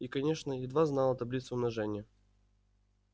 и конечно едва знала таблицу умножения